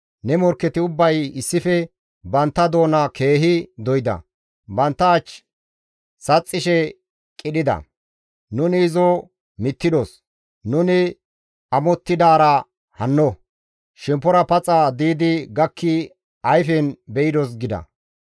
Ne morkketi ubbay issife bantta doona keehi doyda; bantta ach saxxishe qidhida; «Nuni izo mittidos! nuni amottidaara hanno; shemppora paxa diidi gakki ayfen be7idos» gida.